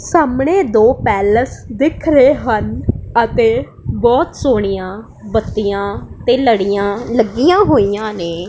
ਸਾਹਮਣੇ ਦੋ ਪੈਲਸ ਦਿਖ ਰਹੇ ਹਨ ਅਤੇ ਬਹੁਤ ਸੋਹਣੀਆਂ ਬੱਤੀਆਂ ਤੇ ਲੜੀਆਂ ਲੱਗੀਆਂ ਹੋਈਆਂ ਨੇ।